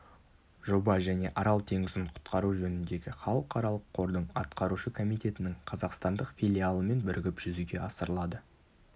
жоба және арал теңізін құтқару жөніндегі халықаралық қордың атқарушы комитетінің қазақстандық филиалымен бірігіп жүзеге асырылады